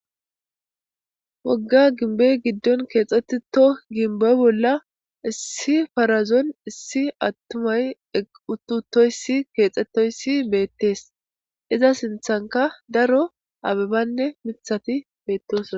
wogga ginbe giddon keexxetito ginbo bolla issi farazon issi attumay euttutoyssi keexxettoyssi beettees iza sinthanka daro abebanne mithati beettosoa